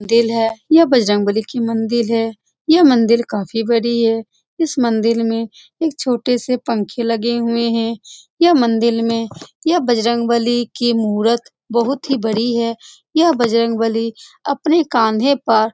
दिल है यह बजरंगबली की मंदील है यह मंदील काफी बड़ी है इस मंदील में एक छोटे से पँखे लगे हुए है यह मंदील में यह बजरंगबली की मूरत बहुत ही बड़ी है यह बजरंगबली अपने कांधे पर --